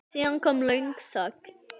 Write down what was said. Síðan kom löng þögn.